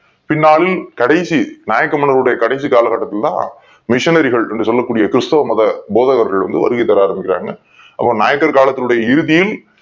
பின்னாளில் கடைசி நாயக்கர்கள் உடைய கடைசி கால கட்டத்தில் தான் missionary கள் என்று சொல்லக்கூடிய கிறிஸ்துவ மத போதவர்கள் வருகை தருவார்கள் அவங்க நாயக்கர் காலத்தினுடைய இறுதியில்